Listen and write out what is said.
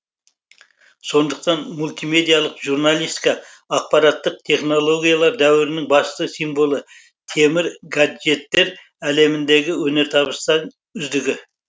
сондықтан мультимедиялық журналистика ақпараттық технологиялар дәуірінің басты символы темір гаджеттер әлеміндегі өнертабыстар үздігі